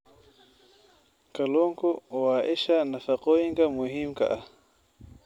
Kalluunku waa isha nafaqooyinka muhiimka ah.